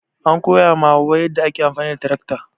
An koya ma hauwa yadda ake amfani da tarakta.